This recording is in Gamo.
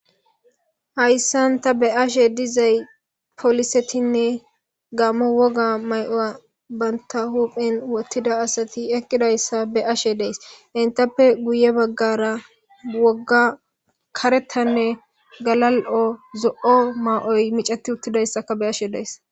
Hayssan ta be ashe dizay polisetinne gammo woga may7o banta huphen wottida asati eqqidayssa be ashe dees intappe guye baggara wogga karetanne galal7o zo7o maa7oy micati uttidayssaka be ashe dees